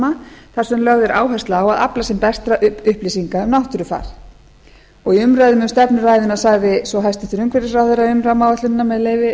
sem lögð er áhersla á að afla sem bestra upplýsinga um náttúrufar í umræðum um stefnuræðuna sagði svo hæstvirtur umhverfisráðherra um rammaáætlunina með leyfi